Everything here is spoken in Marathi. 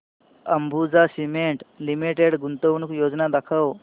अंबुजा सीमेंट लिमिटेड गुंतवणूक योजना दाखव